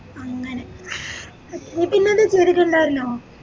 അങ്ങനെ വീട്ടിന്നന്നെ ചെയ്തിറ്റ് ഇണ്ടായിരുന്നോ